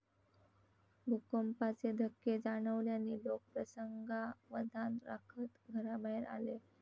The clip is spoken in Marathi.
भूकंपाचे धक्के जाणवल्याने लोक प्रसंगावधान राखत घराबाहेर आले.